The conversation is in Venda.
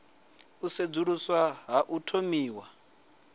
u sedzuluswa ha u thomiwa